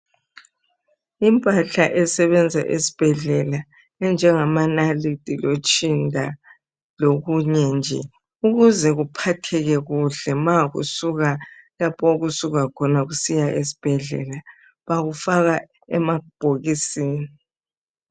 Impahla esebenza esbhedlela enjengamanalithi lotshinda lokunye nje ukuze kuphatheke kuhle kusiya lapho okusuka khona esbhedlela. Bakufaka emabhokisini.